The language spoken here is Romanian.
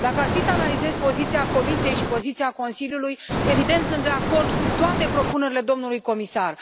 Dacă ar fi să analizez poziția Comisiei și poziția Consiliului, evident, sunt de acord cu toate propunerile domnului comisar.